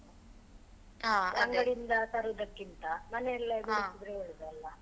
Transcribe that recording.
ಇಂದ ತರುದಕ್ಕಿಂತ ಮನೆಯಲ್ಲೇ ಬೆಳೆಸಿದ್ರೆ ಒಳ್ಳೇದಲ್ಲ.